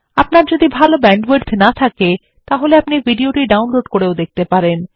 আপনার যদি ভাল ব্যান্ডউইডথ না থাকে আপনি ভিডিওটি ডাউনলোড করেও দেখতে পারেন